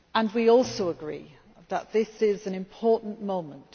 We also agree that this is an important moment